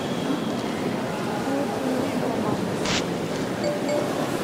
дмитрию романовичу